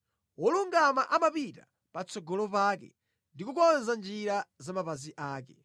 Wolungama amapita patsogolo pake ndi kukonza njira za mapazi ake.